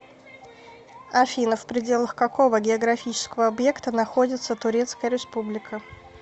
афина в пределах какого географического объекта находится турецкая республика